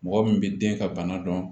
Mɔgɔ min bɛ den ka bana dɔn